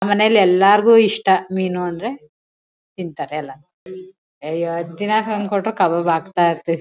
ಮನೇಲಿ ಎಲ್ಲರಿಗೂ ಇಷ್ಟ ಮೀನು ಅಂದ್ರೆ ತಿಂತಾರೆ ಎಲ್ಲ ಅಯ್ಯೋ ದಿನಾ ತಂದು ಕೊಟ್ರು ಕಬಾಬ್ ಹಾಕ್ತಾ ಇರ್ತೀವಿ.